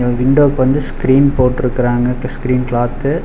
அ விண்டோக்கு வந்து ஸ்கிரீன் போட்ருக்றாங்க ஸ்கிரீன் கிளாத்து .